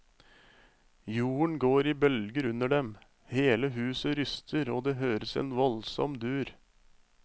Jorden går i bølger under dem, hele huset ryster og det høres en voldsom dur.